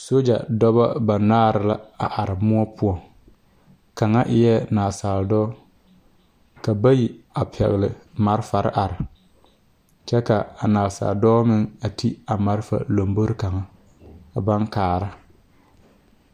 Soja dɔbɔ banaare la are moɔ poɔ kaŋa eɛ nansaale dɔɔ ka bayi a pɛgle malfare a are kyɛ ka a nansaale dɔɔ meŋ a ti a malfa lombori kaŋa baŋ kaara.